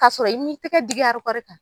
K'a sɔrɔ i mi tɛgɛ digi arikɔrikan.